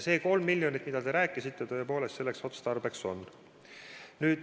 See 3 miljonit, mida te mainisite, tõepoolest selleks otstarbeks peab olema.